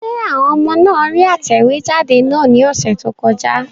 Ṣé àwọn ọmọ náà rí atẹ̀wéjáde náà ní ọ̀sẹ̀ tó kọjá?